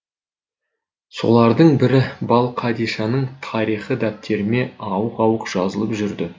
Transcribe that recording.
солардың бірі балқадишаның тарихы дәптеріме ауық ауық жазылып жүрді